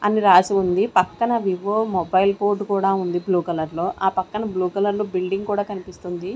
అని రాసి ఉంది. పక్కన వివో మొబైల్ బోర్డ్ కూడా ఉంది బ్లూ కలర్ లో. ఆ పక్కన బ్లూ కలర్ లో బిల్డింగ్ కూడా కనిపిస్తుంది.